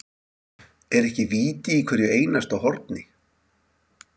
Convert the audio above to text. Er ekki víti í hverju einasta horni?